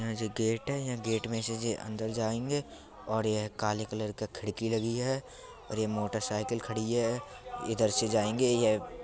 यह जो गेट है। ये गेट में से जे अंदर जायेंगे और ये काले कलर का खिड़की लगी है और ये मोटरसाइकल खड़ी है। इधर से जायेंगे ये --